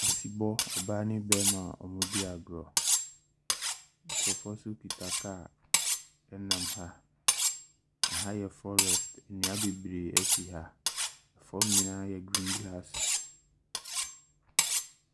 Ɔsebɔ ɔbaa ne barima a wɔredi agorɔ. Nkurɔfoɔ nso kita kaa nam ha. Aha yɛ forest. Nnua bebree si ha. Fam nyinaa yɛ green grass.